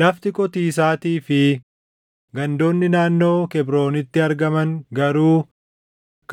Lafti qotiisaatii fi gandoonni naannoo Kebrooniitti argaman garuu